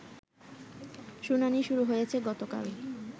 শুনানি শুরু হয়েছে গতকাল